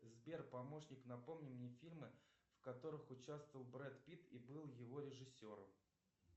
сбер помощник напомни мне фильмы в которых участвовал брэд питт и был его режиссером